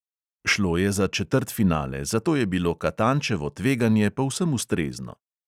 Šlo je za četrtfinale, zato je bilo katančevo tveganje povsem ustrezno.